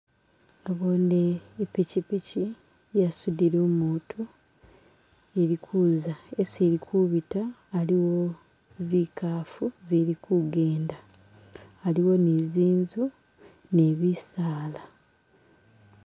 Naboone ipikipiki yasudile umutu ili kuza hesi ilikubita aliwo zikaafu zili kugenda haliwo ni zinzu ni bisaala.